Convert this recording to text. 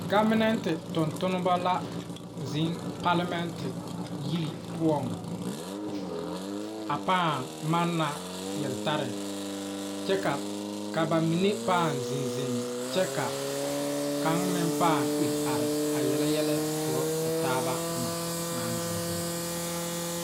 Gɔbenɛnte tontonneba la zeŋ palemɛnte yiri poɔŋ a pãã manna yeltare kyɛ ka ba mine pãã zeŋ zeŋ kyɛ ka kaŋ meŋ pãã are a yele yɛlɛ korɔ o taaba naŋ zeŋ zeŋ.